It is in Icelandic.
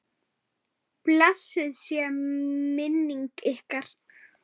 Blessuð sé minning ykkar.